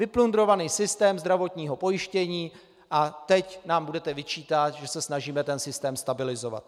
Vyplundrovaný systém zdravotního pojištění a teď nám budete vyčítat, že se snažíme ten systém stabilizovat.